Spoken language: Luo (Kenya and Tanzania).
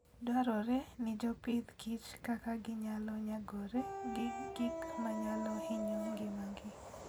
Dwarore ni jopith kich kaka ginyalo nyagore gi gik manyalo hinyo ngimagi.